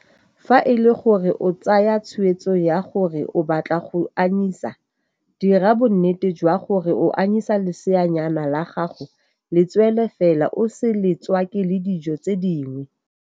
Fa e le gore o tsaya tshweetso ya gore o batla go anyisa, dira bonnete jwa gore o anyisa leseanyana la gago letswele fela o se le tswake le dijo tse dingwe.